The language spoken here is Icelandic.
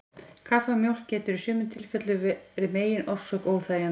Kaffi og mjólk getur í sumum tilfellum verið megin orsök óþægindanna.